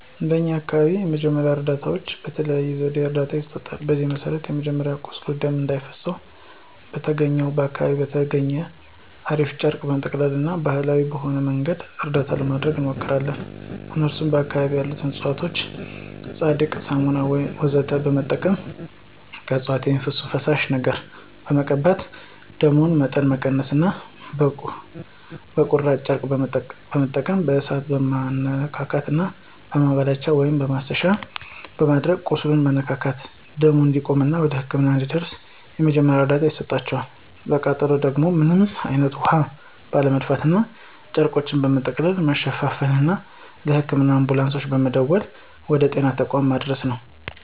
እንደኛ አካባቢ ያሉ የመጀመሪያ እርዳታዎች በተለያየ ዘዴ እርዳታ ይሰጣል። በዚህም መሰረት መጀመሪያ ለቁስል ደም እንዳይፈሰው በተገኘውና አካባቢው በተገኘው እራፊ ጨርቅ በመጠቅለልና ባሀላዊ በሆነ መንገድ እርዳታ ለማድረግ እንሞክራለን እነሱም በአካባቢያችን ያሉ እፅዋቶችን ፀዳቂ፣ ብሳና ወዘተ በመጠቀም ከእፅዋቶች በሚወጣው ፈሳሽ ነገር በመቀባት የደሙን መጠን መቀነስና በቁራጭ ጨርቆች በመጠቀም በእሳት መማስነካትና በማላበቻ(ማሰሻ)በማድረግ ቁስሉን መነካካትና ደሙ እንዲቆምና ወደ ህክምና እስኪደርስ ድረስ የመጀመሪያ እርዳታ ይሰጣቸዋል፣ ለቃጠሎ ደግሞ ምንም አይነት ውሀ ባለመድፋትና ጨርቆችን በመጠቀም መሸፋፈንና ለህክምና አንቡላንሶች በመደወል ወደ ጤና ተቋማት ማድረስ ነው።